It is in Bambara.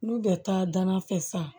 N'u bɛ taa danna fɛ san